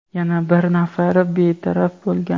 yana bir nafari betaraf bo‘lgan.